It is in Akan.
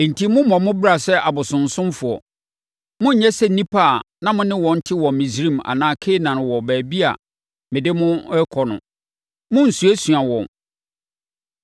enti mommmɔ mo bra sɛ abosonsomfoɔ. Monnyɛ sɛ nnipa a na mo ne wɔn te wɔ Misraim anaa Kanaan wɔ baabi a mede mo rekɔ no. Monnsuasua wɔn.